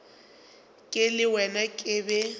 ke le wena ke be